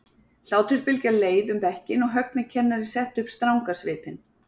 Hlátursbylgja leið um bekkinn og Högni kennari setti upp stranga svipinn.